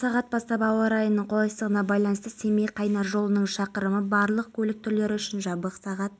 фестивальдің салтанатты ашылуына қала әкімі әсет исекешев қатысты жалпы саны ұжым мерекеде қонақтарды өнерлерімен тәнті етпек